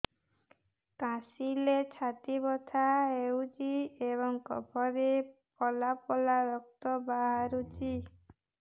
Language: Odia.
କାଶିଲେ ଛାତି ବଥା ହେଉଛି ଏବଂ କଫରେ ପଳା ପଳା ରକ୍ତ ବାହାରୁଚି